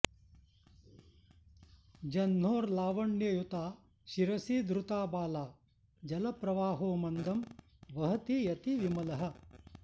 जह्नोर्लावण्ययुता शिरसि धृता बाला जलप्रवाहो मन्दम् वहति यति विमलः